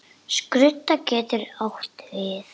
Blessuð sé minning ömmu.